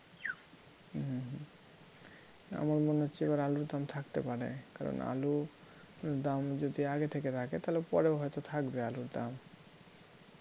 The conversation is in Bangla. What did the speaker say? আমার মনে হচ্ছে এবার আলুর দাম থাকতে পারে কারণ আলুর দাম যদি আগে থেকে রাখে তাহলে পরেও হয়ত থাকবে আলুর দাম